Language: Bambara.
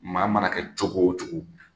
Maa ma na kɛ cogo o cogo